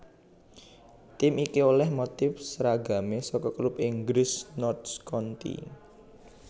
Tim iki olèh motif seragamé saka klub Inggris Notts County